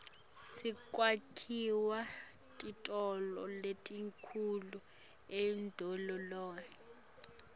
sekwakhiwa titolo letinkhulu emadolobheni